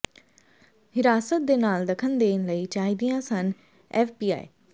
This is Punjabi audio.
ਹਿਰਾਸਤ ਦੇ ਨਾਲ ਦਖਲ ਦੇਣ ਲਈ ਚਾਹੀਦੀਆਂ ਸਨ ਐਫਬੀਆਈ